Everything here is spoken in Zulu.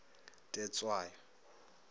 tetshwayo